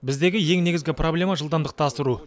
біздегі ең негізгі проблема жылдамдықты асыру